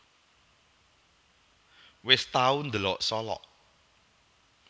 Wes tau ndelok Solok